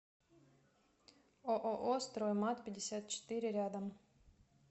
ооо стройматпятьдесятчетыре рядом